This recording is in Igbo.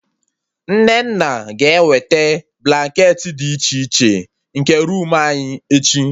Nnenna ga ewete blanketị dị iche iche, nke roomu anyị, echi